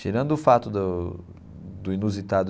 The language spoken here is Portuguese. Tirando o fato do do inusitado...